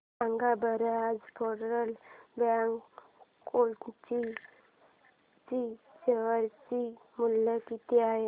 सांगा बरं आज फेडरल बँक कोची चे शेअर चे मूल्य किती आहे